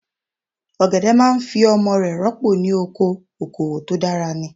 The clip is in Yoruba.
Ọ̀gẹ̀dẹ̀ máa fi ọmọ rẹ̀ rọ́pò ní ọkọ, okòwò tó dára ni.